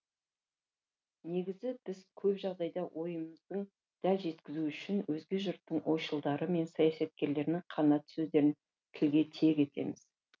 негізі көп жағдайда ойымызды дәл жеткізу үшін өзге жұрттың ойшылдары мен саясаткерлерінің қанатты сөздерін тілге тиек етеміз